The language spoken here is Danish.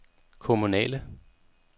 kommunale